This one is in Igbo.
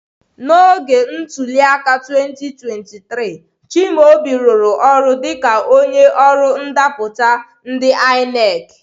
N'oge ntuli aka 2023, Chimaobi rụrụ ọrụ dịka onye ọrụ ndapụta ndi ineki.